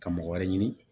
Ka mɔgɔ wɛrɛ ɲini